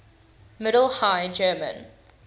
middle high german